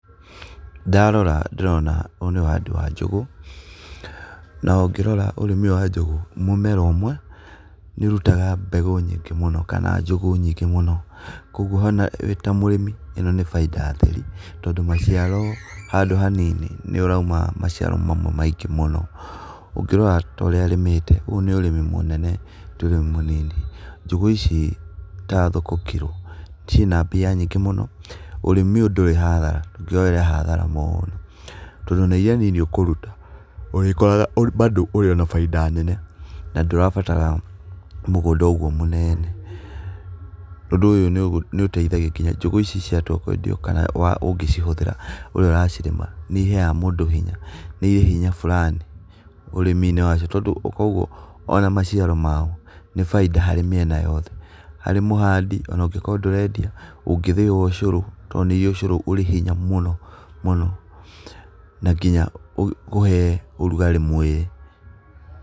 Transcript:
Ndarora ndĩrona ũyũ nĩ ũhandi wanjũgũ na ũngĩrora ũrĩmi ũyũ wa njũgũ mũmera ũmwe nĩ ũrũtaga mbegũ nyingĩ mũno kana njũgũ nyingĩ mũno kwogũo wĩ ta mũrĩmi ĩno nĩ baida theri to maciaro handũ ha nini nĩ ũraũma maciaro mamwe maingĩ mũno, ũngĩrora ta ũrĩa arĩmite ũyũ nĩ ũrĩmi mũnene, tĩ ũrĩmi mũnini . Njũgũ ici ta thoko kiro ciĩna mbia na ũrĩmi ũyũ ndũrĩ na hathara to ona ĩrĩa nini ũkũrũta ũrĩkaoraga babo ũrĩona bainda nene na ndũrabatara mũgũnda ũgũo mũnene, ũndũ ũyũ nĩ ũteĩthagĩrĩria nginya njũgũ ici ciatũa kwendio kana wa ũngĩcihũthĩra ũrĩa ũracirĩma nĩ ĩheaga mũndũ hinya nĩ iri hinya Fulani ũrĩmi inĩ wacio kũogũo ona maciaro mao nĩ baida harĩ mĩena yothe ,harĩ mũhandi ona angĩkorwo ndũrendia ũngĩthiĩa to nĩ irĩ cũrũ arĩ hinya mũno mũno na nginya kũhe ũrũgarĩ mwĩrĩ.